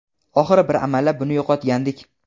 oxiri bir amallab buni yo‘qotgandik.